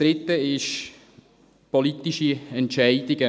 Das Dritte sind politische Entscheidungen.